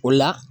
O la